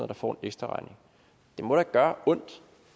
der får en ekstraregning det må da gøre ondt